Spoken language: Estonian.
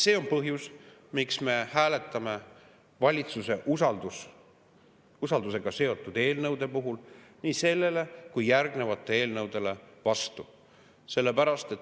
See on põhjus, miks me hääletame valitsuse usaldusega seotud eelnõude puhul nii sellele kui järgnevatele eelnõudele vastu.